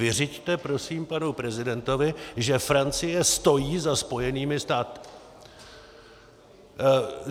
Vyřiďte prosím panu prezidentovi, že Francie stojí za Spojenými státy.